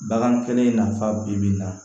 Bagan kɛlen nafa bi bi in na